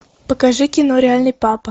покажи кино реальный папа